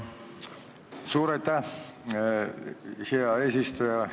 Suur aitäh, hea eesistuja!